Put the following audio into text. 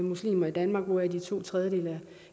muslimer i danmark hvoraf to tredjedele